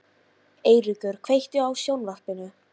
Eiríka, kveiktu á sjónvarpinu.